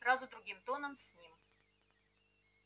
сразу другим тоном с ним